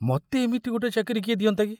ମତେ ଏମିତି ଗୋଟାଏ ଚାକିରି କିଏ ଦିଅନ୍ତା କି!